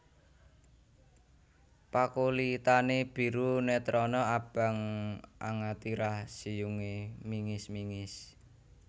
Pakulitané biru netrané abang angatirah siyungé mingis mingis